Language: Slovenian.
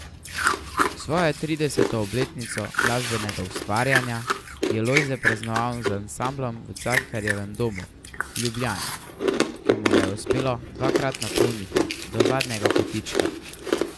Svojo trideseto obletnico glasbenega ustvarjanja je Lojze praznoval z ansamblom v Cankarjevem domu v Ljubljani, ki mu ga je uspelo dva krat napolniti do zadnjega kotička.